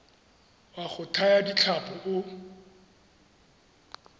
wa go thaya ditlhapi o